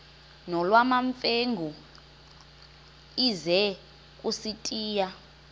nolwamamfengu ize kusitiya